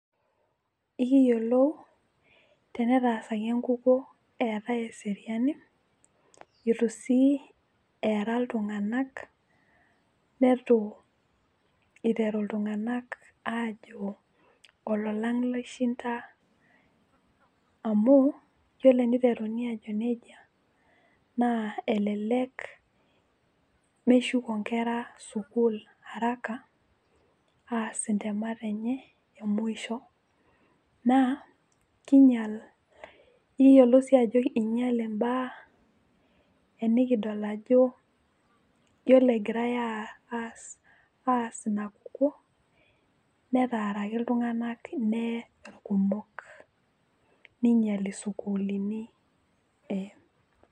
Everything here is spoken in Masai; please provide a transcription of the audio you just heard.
ekiyiolo tenetaasaki enkukuo etae eseriani. eitu sii eera iltunganak neitu eiteru iltunganak aajo olalang loishinda, amu iyiolo eneiteruni ajo nejia, naa elelek, meshuko nkera sukuul araka, aas ntemat enye emusho, naa ekiyiolo sii ajo ing'eile mbaa enikidl ajo, iyiolo egirae aas inakukuo, netaaraki iltunganak neye irkumok. ninyiali isukuulini.